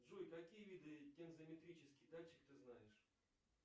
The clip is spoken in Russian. джой какие виды тензометрический датчик ты знаешь